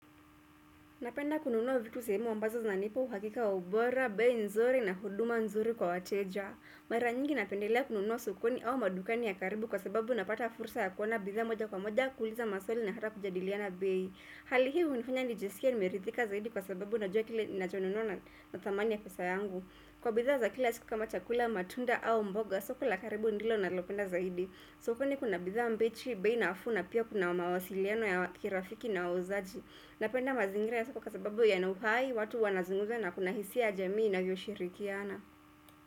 Napenda kununua vitu sehemu ambazo nipo, hakika, ubora, bei nzuri na huduma nzuri kwa wateja. Mara nyingi napendelea kununua sokoni au madukani ya karibu kwa sababu napata fursa ya kuona bidhaa moja kwa moja, kuuliza maswali na hata kujadiliana bei. Hali hii hunifanya nijiskie nimerithika zaidi kwa sababu najua kile ninacho nunua na thamani ya pesa yangu. Kwa bidhaa za kila siku kama chakula, matunda au mboga, soko la karibu ndilo na lopenda zaidi. Sokoni kuna bidhaa mbichi, bei nafuu na pia kuna mawasiliano ya kirafiki na wauzaji Napenda mazingira ya soko kwa sababu yana uhai, watu wanazungumza na kuna hisia jamii inavyoshirikiana.